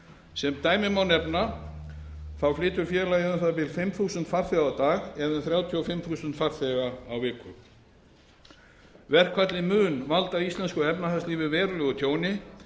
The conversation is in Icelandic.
sem dæmi en efna flytur félagið um það bil fimm þúsund farþega á dag eða um þrjátíu og fimm þúsund farþega á viku verkfallið mun valda íslensku efnahagslífi verulegu tjóni